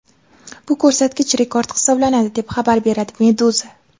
Bu ko‘rsatkich rekord hisoblanadi, deb xabar beradi Meduza.